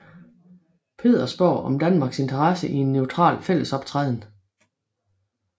Pedersborg om Danmarks interesse i en neutral fællesoptræden